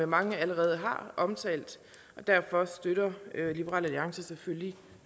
mange allerede har omtalt derfor støtter liberal alliance selvfølgelig